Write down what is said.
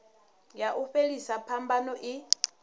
ya u fhelisa phambano i